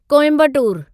Coimbatore